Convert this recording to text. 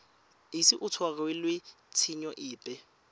ise a tshwarelwe tshenyo epe